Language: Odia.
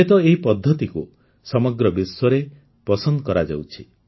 ଏବେ ତ ଏହି ପଦ୍ଧତିକୁ ସମଗ୍ର ବିଶ୍ୱରେ ପସନ୍ଦ କରାଯାଉଛି